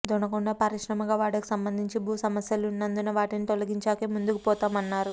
దొనకొండ పారిశ్రామికవాడకు సంబంధించి భూ సమస్యలున్నందున వాటిని తొలగించాకే ముందుకు పోతామన్నారు